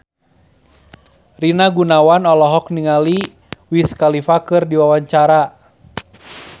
Rina Gunawan olohok ningali Wiz Khalifa keur diwawancara